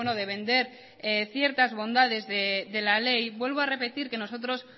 de vender ciertas bondades de la ley vuelvo a repetir que nosotros